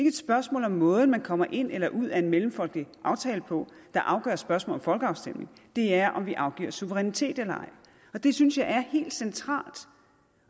et spørgsmål om måden man kommer ind eller ud af en mellemfolkelig aftale på der afgør spørgsmålet folkeafstemning det er om vi afgiver suverænitet eller ej og det synes jeg er helt centralt og